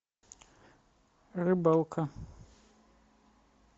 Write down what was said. рыбалка